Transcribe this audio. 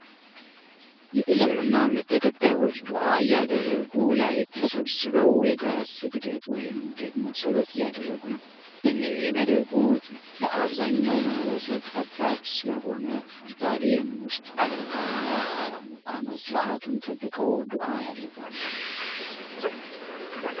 የእስልምና እምነት ተከታዮች ዱአ ያደረጉ ላይ ተሰብስበው የጋራ ስግደት ወይም ደግሞ ፀሎት እያደረጉ ነው። ይህንን የሚያደርጉት ለአብዛኛው ማህበረሰብ ጠባብ ስለሆነ ስታዲየም ውስጥ ያደርጋሉ። ከዓመት አመት ስርአቱን ጠብቀው ዱአ ያደርጋሉ።